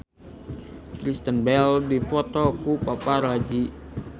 Kristen Bell dipoto ku paparazi